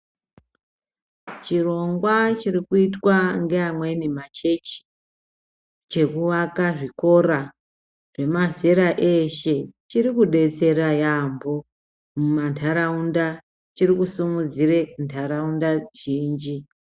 Chirongwa chiri kuitwa ngeamweni machechi chekuaka zvikora zvemazera eshe chiri kudetsera yambo mumantaraunda chirikusimudzire ntaraunda zhinji.